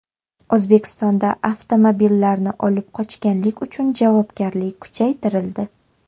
O‘zbekistonda avtomobillarni olib qochganlik uchun javobgarlik kuchaytirildi .